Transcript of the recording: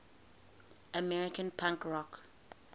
american punk rock